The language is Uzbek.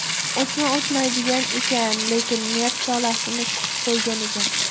O‘sma o‘smaydigan ekan, lekin nerv tolalarini siqib qo‘ygan ekan.